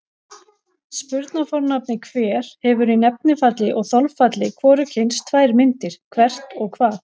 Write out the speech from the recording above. Spurnarfornafnið hver hefur í nefnifalli og þolfalli hvorugkyns tvær myndir, hvert og hvað.